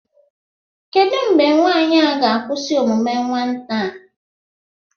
kedụ mgbe nwaanyị a ga-akwụsị omume nwata a